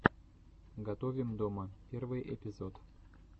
готовим дома первый эпизод